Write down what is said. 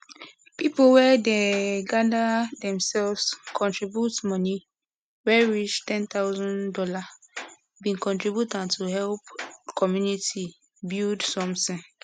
people wey dem gather themselves contribute money wey reach ten thousand dollar bin contribute am to help community build somtin